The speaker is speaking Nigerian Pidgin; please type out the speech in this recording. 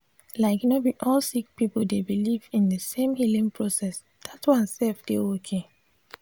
like no bi all sik pipul dey biliv in di sem healing process that one sef dey ok